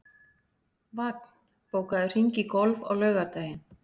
Vagn, bókaðu hring í golf á laugardaginn.